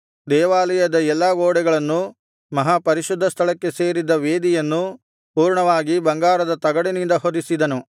ದೇವಾಲಯದ ಎಲ್ಲಾ ಗೋಡೆಗಳನ್ನೂ ಮಹಾಪರಿಶುದ್ಧ ಸ್ಥಳಕ್ಕೆ ಸೇರಿದ ವೇದಿಯನ್ನೂ ಪೂರ್ಣವಾಗಿ ಬಂಗಾರದ ತಗಡಿನಿಂದ ಹೊದಿಸಿದನು